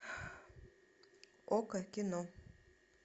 окко кино